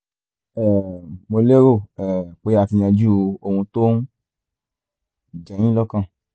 um mo lérò um pé a ti yanjú ohun tó ń jẹ yín lọ́kàn